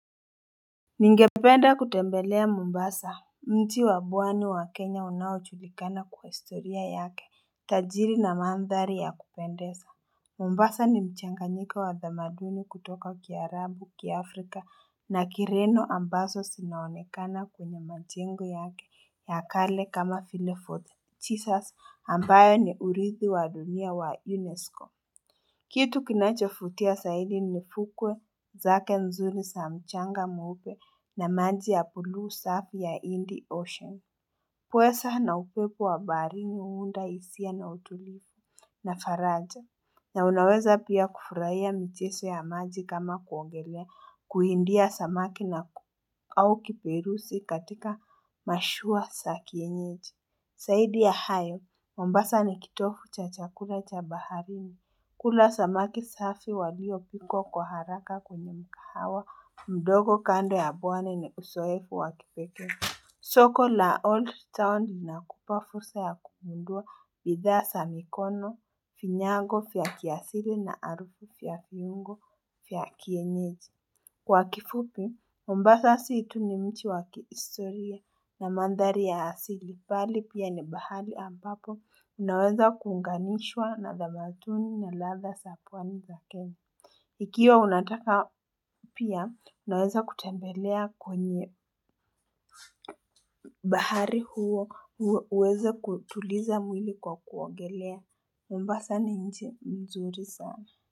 Ningependa kutembelea Mombasa, mji wa bwani wa Kenya unaochulikana kwa historia yake Tajiri na mandhari ya kupendesa Mombasa ni mchanganyiko wa dhamaduni kutoka kia Arabu kia Afrika na kireno ambaso sinaonekana kwenye majengo yake ya kale kama file fort chisas ambayo ni urithi wa dunia wa UNESCO kitu kinachofutia saidi nifukwe zake nzuri saa mchanga mweupe na maji ya pulu safi ya Indi Ocean. Pwesa na upepo wa baharini uunda isia na utulivu. Na faraja na unaweza pia kufurahia mcheso ya maji kama kuongelea kuindia samaki au kiperusi katika mashua sa kienyeji. Saidi ya hayo, mombasa ni kitofu cha chakula cha baharini. Kula samaki safi waliyo pikwa kwa haraka kwenye mikahawa mdogo kando ya bwani ni usoefu wa kipeke. Soko la old town inakupa fusa ya kugundua bidhaa sa mikono, finyango fya kiasili na arufu fya fiungo fya kienyeji. Kwa kifupi mombasa si tu ni mchi wa kihistoria na mandhari ya asili bali pia ni bahari ambapo unaweza kuunganishwa na dhamatuni na ladha sa pwani za kenya ikiwa unataka pia unaweza kutembelea kwenye bahari huo uweze kutuliza mwili kwa kuogelea Mombasa ni nchi mzuri saa.